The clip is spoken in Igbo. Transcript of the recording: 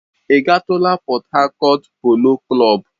Ị gatụla Pọt Hakọt Polo Klọb?